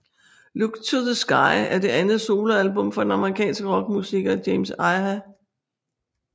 Look to the Sky er det andet soloalbum fra den amerikanske rockmusiker James Iha